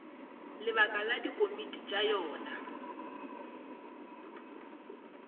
lebaka la dikomiti tša yona